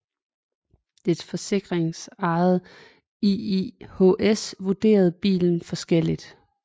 Det forsikringsejede IIHS vurderede bilen forskelligt